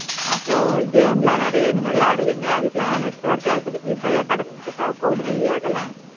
அப்பரோ game லாம் நெறைய விளாடுவிங்க அதுக்கு எல்லாம் network நல்ல கிடைச்சிட்டு இருக்குதா? four G